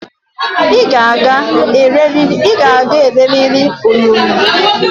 I ga-aga eleriri onyonyo